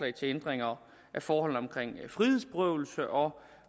ændringer af forholdene omkring frihedsberøvelse og